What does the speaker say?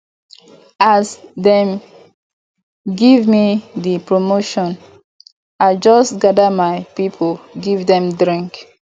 as dem gemme dis promotion i just gather my pipu give dem drink